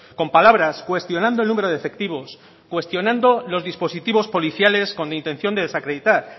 con palabras cuestionando el número de efectivos cuestionando los dispositivos policiales con intención de desacreditar